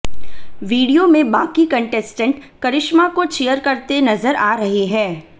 video में बाकी contestant Karishma को चीयर करते नजर आ रहे हैं